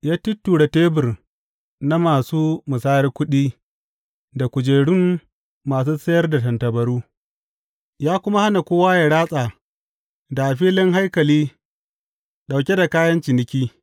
Ya tutture tebur na masu musayar kuɗi, da kujerun masu sayar da tattabaru, ya kuma hana kowa yă ratsa da a filin haikali ɗauke da kayan ciniki.